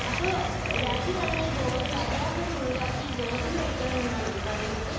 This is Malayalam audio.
അപ്പോൾ രാത്രികാലങ്ങളിൽ ഗോതമ്പ്, അരിയാഹാരം ഒഴിവാക്കി ഗോതമ്പ് കഴിക്കണമെന്നാണോ നീ പറയുന്നത്?